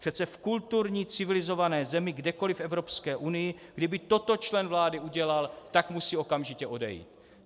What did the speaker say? Přece v kulturní civilizované zemi kdekoliv v Evropské unii kdyby toto člen vlády udělal, tak musí okamžitě odejít."